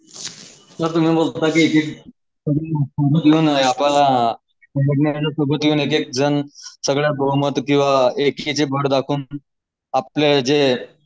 सगळे बहुमत किंवा आपले जे